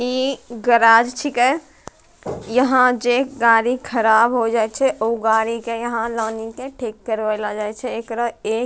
इ गेराज छीके यहाँ जे गाड़ी ख़राब हो जाए छै उ गाड़ी के यहाँ लउनी के ठीक करवले जाए छै एकरा इ --